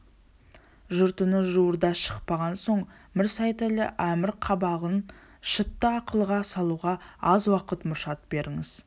жұрт үні жуырда шықпаған соң мір сейтәлі әмір қабағын шытты ақылға салуға аз уақыт мұршат беріңіз